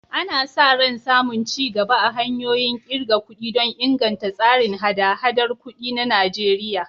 Ana sa ran samun ci gaba a hanyoyin ƙirga kuɗi don inganta tsarin haɗa-haɗar kuɗi na Najeriya.